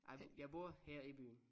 Nej jeg bor her i byen